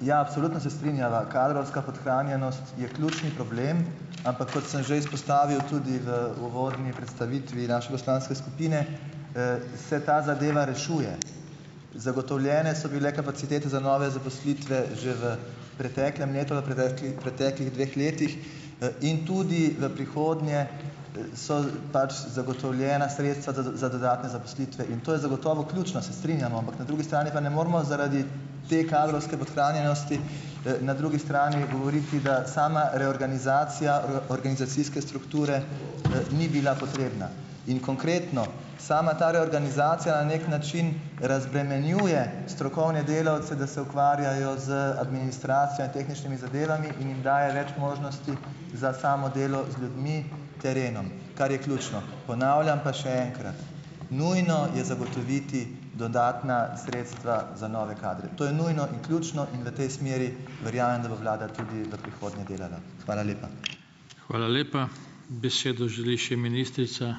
ja, absolutno se strinjava, kadrovska podhranjenost je ključni problem , ampak kot sem že izpostavil tudi v uvodni predstavitvi naše poslanske skupine, se ta zadeva rešuje . Zagotovljene so bile kapacitete za nove zaposlitve že v preteklem letu, preteklih dveh letih, in tudi v prihodnje, so pač zagotovljena sredstva za, za dodatne zaposlitve in to je zagotovo ključno, se strinjamo, ampak na drugi strani pa ne moremo zaradi te kadrovske podhranjenosti, na drugi strani govoriti, da sama reorganizacija organizacijske strukture, ni bila potrebna . In konkretno sama ta reorganizacija na neki način razbremenjuje strokovne delavce, da se ukvarjajo z administracijo in tehničnimi zadevami in jim daje več možnosti za samo delo z ljudmi, terenom, kar je ključno . Ponavljam pa še enkrat , nujno je zagotoviti dodatna sredstva za nove kadre. To je nujno in ključno in v tej smeri verjamem, da bo vlada tudi v prihodnje delala . Hvala lepa. Hvala lepa. Besedo želi še ministrica ...